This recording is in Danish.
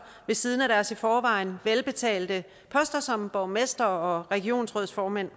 ved siden af deres i forvejen velbetalte poster som borgmestre og regionsrådsformænd